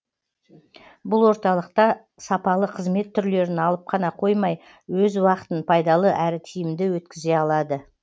бұл орталықта сапалы қызмет түрлерін алып қана қоймай өз уақытын пайдалы әрі тиімді өткізе алады